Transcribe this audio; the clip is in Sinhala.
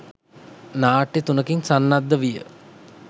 නාට්‍ය තුනකින් සන්නද්ධ විය